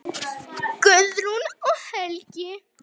Guðrún og Helgi.